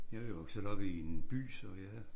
Jeg er jo vokset op i en by så jeg